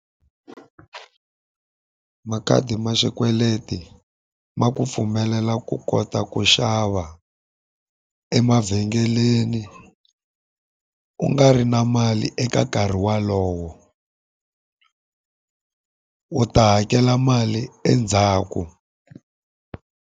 Makhadi ma xikweleti ma ku pfumelela ku kota ku xava emavhengeleni u nga ri na mali eka nkarhi wolowo. U ta hakela mali endzhaku.